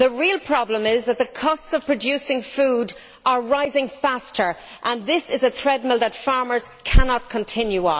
The real problem is that the costs of producing food are rising faster, and this is a treadmill on which farmers cannot continue.